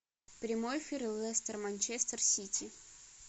прямой эфир лестер манчестер сити